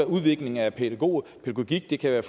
udvikling af pædagogik det kan være